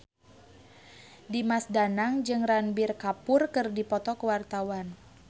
Dimas Danang jeung Ranbir Kapoor keur dipoto ku wartawan